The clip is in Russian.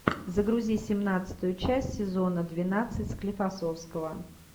загрузи семнадцатую часть сезона двенадцать склифосовского